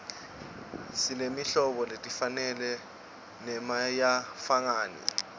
simetirhlobo letingafani nemasayizilangafani